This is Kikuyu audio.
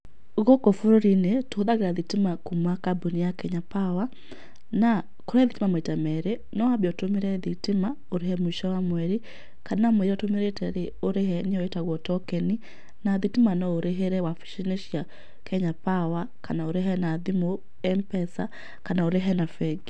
Gũkũ bũrũri-inĩ, tũhũthĩraga thitima kuma kambuni ya Kenya Power na, kũrĩ thitima maita merĩ, no wambe ũtũmĩre thitima ũrĩhe mũico wa mweri kana mũĩra ũtũmĩrĩte rĩ ũrĩhe nĩyo ĩtagwo tokeni, na thitima no ũrĩhĩre wabici-inĩ cia Kenya Power kana ũrĩhe na thimũ M-PESA, kana ũrĩhe na bengi.